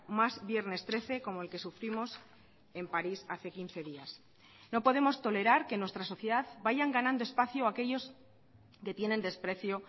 más viernes trece como el que sufrimos en paris hace quince días no podemos tolerar que en nuestra sociedad vayan ganando espacio aquellos que tienen desprecio